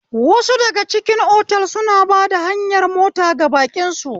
Wasu daga cikin otal suna ba hayar mota ga baƙin su